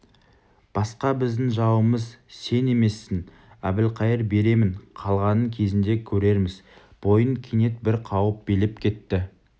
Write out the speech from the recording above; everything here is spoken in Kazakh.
басқа біздің жауымыз сен емессің әбілқайыр беремін қалғанын кезінде көрерміз бойын кенет бір қауіп билеп кетті